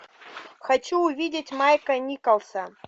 хочу увидеть майкла николса